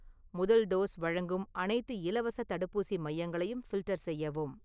முதல் டோஸ் வழங்கும் அனைத்து இலவசத் தடுப்பூசி மையங்களையும் ஃபில்டர் செய்யவும்